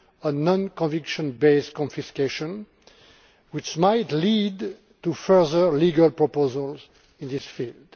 on non conviction based confiscation which might lead to further legal proposals in this field.